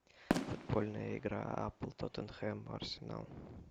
футбольная игра апл тоттенхэм арсенал